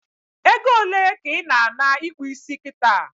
Egole ka ị na ana ikpụ isi kita?